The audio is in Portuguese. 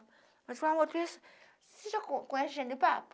Ela dizia, amor, você já co conhece